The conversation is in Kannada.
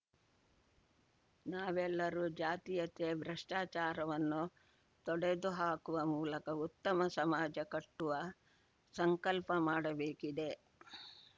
ನಾವೆಲ್ಲರೂ ಜಾತೀಯತೆ ಭ್ರಷ್ಟಾಚಾರವನ್ನು ತೊಡೆದುಹಾಕುವ ಮೂಲಕ ಉತ್ತಮ ಸಮಾಜ ಕಟ್ಟುವ ಸಂಕಲ್ಪ ಮಾಡಬೇಕಿದೆ